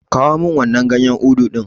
Kawo min wannan ganyen Udu ɗin.